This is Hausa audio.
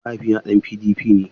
Mahaifina ɗan PDP ne.